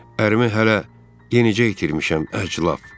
Ərimi hələ yenicə itirmişəm əclaf.